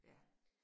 Ja